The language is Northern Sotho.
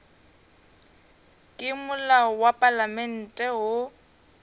ke molao wa palamente wo